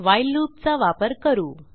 while loopचा वापरू